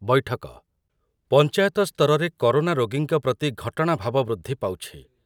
ବୈଠକ, ପଞ୍ଚାୟତ ସ୍ତରରେ କରୋନା ରୋଗୀଙ୍କ ପ୍ରତି ଘଟଣା ଭାବ ବୃଦ୍ଧି ପାଉଛି ।